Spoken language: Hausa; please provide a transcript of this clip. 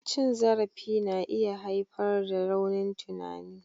Cin zarafi na iya haifar da raunin tunani.